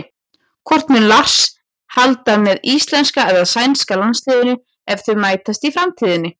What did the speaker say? Hvort mun Lars halda með íslenska eða sænska landsliðinu ef þau mætast í framtíðinni?